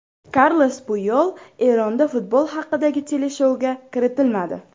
Karles Puyol Eronda futbol haqidagi teleshouga kiritilmadi.